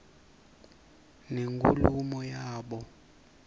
nenkulumo yabo